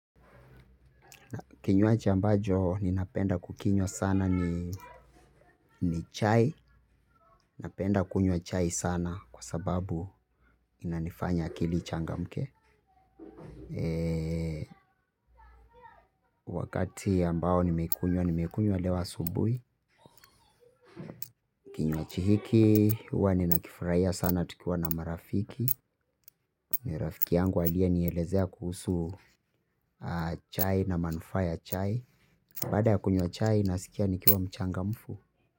Kinywaji ambacho ninapenda kukinywa sana ni chai. Napenda kunywa chai sana kwa sababu inanifanya akili ichangamke. Wakati ambao nimeikunywa, nimeikunywa leo asubuhi. Kinywaji hiki huwa ninakifurahia sana tukiwa na marafiki. Ni rafiki yangu aliye nielezea kuhusu chai na manufaa ya chai. Baada ya kunywa chai, nasikia nikiwa mchangamfu.